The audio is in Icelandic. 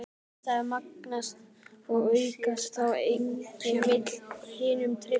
Andstæður magnast og aukast þá enginn vill hinum treysta.